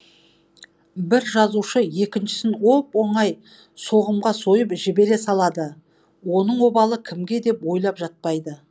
бір жазушы екіншісін оп оңай соғымға сойып жібере салады оның обалы кімге деп ойлап жатпайды